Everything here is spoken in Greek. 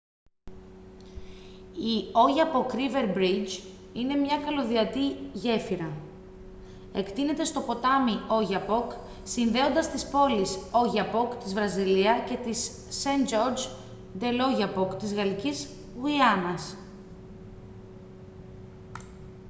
η oyapock river bridge είναι μια καλωδιωτή γέφυρα εκτείνεται στο ποτάμι oyapock συνδέοντας τις πόλεις oiapoque της βραζιλία και saint-georges de l'oyapock της γαλλικής γουιάνας